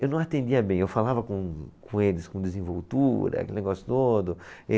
Eu não atendia bem, eu falava com, com eles com desenvoltura, aquele negócio todo.